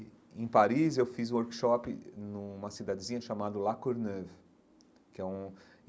E, em Paris, eu fiz um workshop numa cidadezinha chamada La Courneuve que é um.